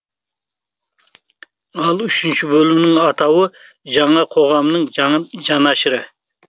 ал үшінші бөлімнің атауы жаңа қоғамның жанашыры